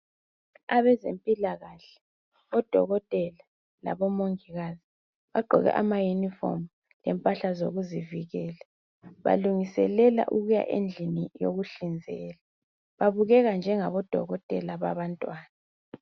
Abezempilakahle odokotela labomongikazi bagqoke abauniformu lemphahla ezokuzivikela balungiselela ukuya endlini lokuhlinzela babukeka njengabodokotela babantwana.